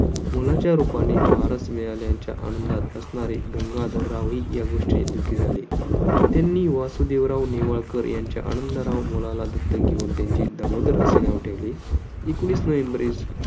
मुलाच्या रूपाने वारस मिळाल्याच्या आनंदात असणारे गंगाधरराव ही या गोष्टीने दुखी झाले. त्यांनी वासुदेवराव नेवाळकर यांच्या आनंदराव मुलाला दत्तक घेऊन त्यांचे दामोदर असे नाव ठेवले. एकवीस नोव्हेंबर